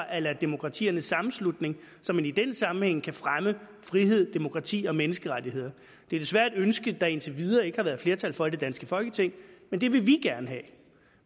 a la demokratiernes sammenslutning så man i den sammenhæng kan fremme frihed demokrati og menneskerettigheder det er desværre et ønske der indtil videre ikke har været flertal for i det danske folketing men det vil vi gerne have